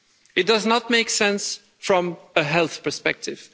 It does not make sense from a health perspective.